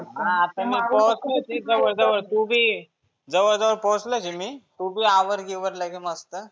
हा आता पोहचतो मी जवळ जवळ तु बी ये, जवळ जवळ पोहचलो आहे मी. तु बी आवर गिवर लगे मस्त.